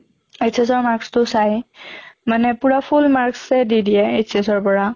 HS ৰ mark টো চায়, মানে পুৰা full marks য়ে দি দিয়ে HS ৰ পৰা